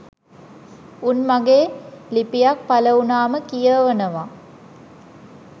උන් මගේ ලිපියක් පළ වුණාම කියවනව